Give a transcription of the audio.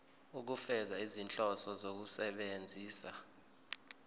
ukufeza izinhloso zokusebenzisa